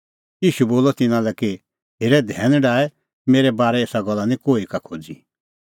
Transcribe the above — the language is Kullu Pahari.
ईशू बोलअ तिन्नां लै कि हेरे धैन डाहै मेरै बारै एसा गल्ला निं कोही का खोज़ी